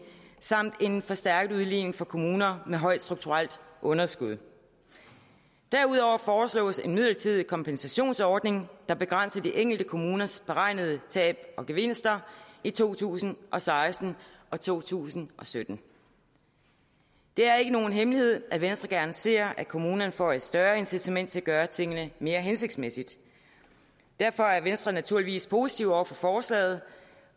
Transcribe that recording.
samt en forstærket udligning for kommuner med højt strukturelt underskud derudover foreslås en midlertidig kompensationsordning der begrænser de enkelte kommuners beregnede tab og gevinster i to tusind og seksten og to tusind og sytten det er ikke nogen hemmelighed at venstre gerne ser at kommunerne får et større incitament til at gøre tingene mere hensigtsmæssigt derfor er venstre naturligvis positiv over for forslaget